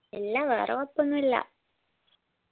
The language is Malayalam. ഇല്ല വേറെ കൊയ്‌പ്പൊന്നുല്ല